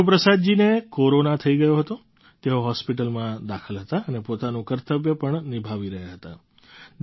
ગુરુપ્રસાદજીને corona થઈ ગયો હતો તેઓ હૉસ્પિટલમાં દાખલ હતા અને પોતાનું કર્તવ્ય પણ નિભાવી રહ્યા હતા